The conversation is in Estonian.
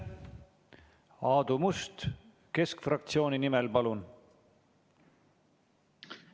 Aadu Must keskfraktsiooni nimel, palun!